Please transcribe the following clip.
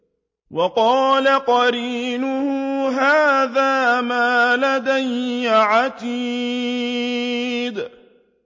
وَقَالَ قَرِينُهُ هَٰذَا مَا لَدَيَّ عَتِيدٌ